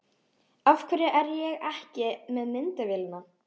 Af hverju er ég ekki með myndavélina?